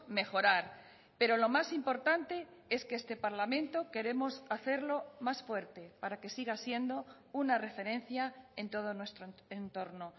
mejorar pero lo más importante es que este parlamento queremos hacerlo más fuerte para que siga siendo una referencia en todo nuestro entorno